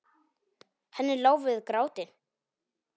Henni lá við gráti.